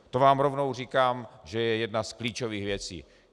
To vám rovnou říkám, že je jedna z klíčových věcí.